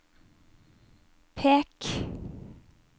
pek